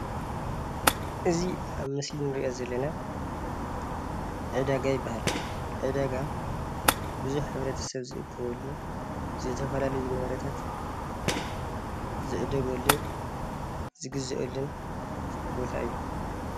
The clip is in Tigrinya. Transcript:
እዚ ኣብ ምስሊ እንሪኦ ዘለና ዕዳጋ ይባሃል፡፡ ዕዳጋ ቡዙሕ ሕብረተሰብ ዝእከበሉ ዝተፈላለየ ንብረታት ዝዕደገሉን ዝግዘአሉን ቦታ እዩ፡፡